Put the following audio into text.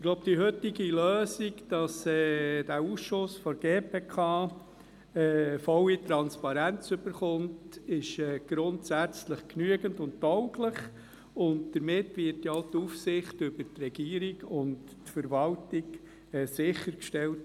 Ich glaube, die heutige Lösung, wonach der Ausschuss der GPK volle Transparenz erhält, sei grundsätzlich genügend und tauglich, und damit wird ja auch die Aufsicht über die Regierung und Verwaltung sichergestellt.